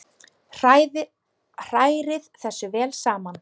Hrærið þessu vel saman.